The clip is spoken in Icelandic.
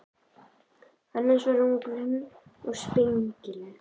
Annars var hún grönn og spengileg.